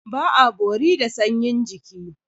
Ba a bori da sanyin jiki.